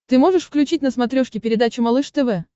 ты можешь включить на смотрешке передачу малыш тв